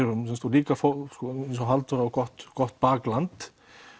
líka fólk eins og Halldóra á gott gott bakland